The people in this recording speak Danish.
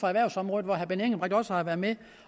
erhvervsområdet hvor herre benny engelbrecht også har været med